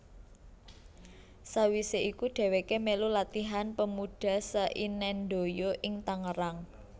Sawise iku dheweke melu Latihan Pemuda Seinendoyo ing Tangerang